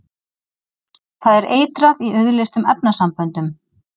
Það er eitrað í auðleystum efnasamböndum.